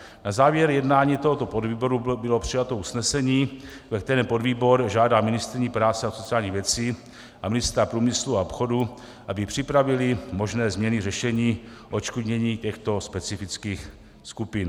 Na závěr jednání tohoto podvýboru bylo přijato usnesení, ve kterém podvýbor žádá ministryni práce a sociálních věcí a ministra průmyslu a obchodu, aby připravili možné změny řešení odškodnění těchto specifických skupin.